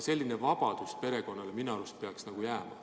Selline vabadus perekonnale minu arust peaks jääma.